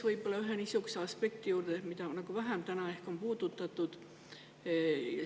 Aga ma tulen ühe niisuguse aspekti juurde, mida on täna ehk vähem puudutatud.